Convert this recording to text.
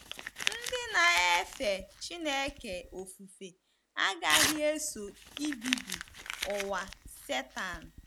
Ndị na-efe Chineke ofufe agaghị eso ibibi ụwa Setan.